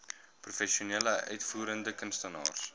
professionele uitvoerende kunstenaars